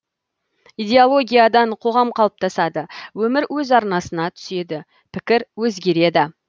идеологиядан қоғам қалыптасады өмір өз арнасына түседі пікір өзгереді